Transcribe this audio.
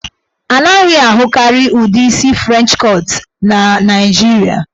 A naghị ahụkarị ụdị isi French cut na Naijiria.